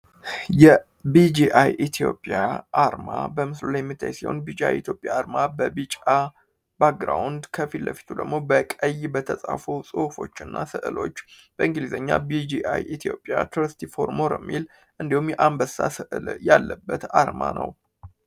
Bgi ethiopia arma በሙስሊም ቢጫ ኢትዮጵያ ቢጫ back ከፊቱ ደግሞ በቀይ በተጻፈው ጽሁፎች እና ስዕሎች በእንግሊዝኛ ኢትዮጵያ የአንበሳ ስዕል ያለበት አርማ ነው።